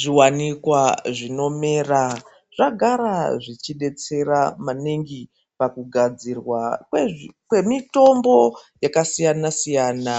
Zviwanikwa zvinomera zvagara zvichidetsera maningi pakugadzirwa kwezvi kwemitombo yakasiyana siyana